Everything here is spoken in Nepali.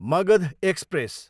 मगध एक्सप्रेस